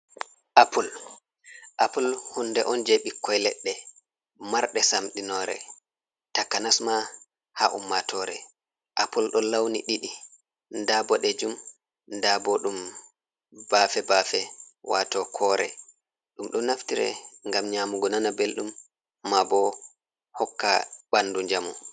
Appul, appul hunde on jei ɓikkoi leɗɗe marɗe samɗinoore takanasma ha ummatore. Appul ɗon launi ɗiɗi, nda boɗeejum nda bo ɗum baafe-baafe waato koore, ɗum ɗo naftire ngam nyamugo nana belɗum ma bo hokka ɓandu njamu.